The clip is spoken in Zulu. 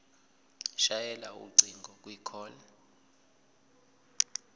shayela ucingo kwicall